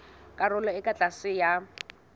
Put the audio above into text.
karolong e ka tlase ya